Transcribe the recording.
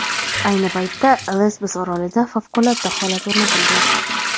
Ayni paytda Lesbos orolida favqulodda holat o‘rnatilgan.